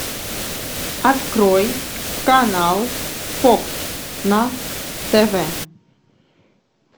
открой канал фокс на тв